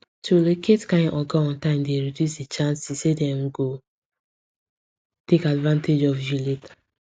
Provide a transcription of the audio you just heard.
to locate kind oga on time dey reduce the chances say dem go take advantage of you later